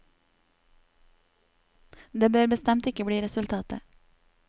Det bør bestemt ikke bli resultatet.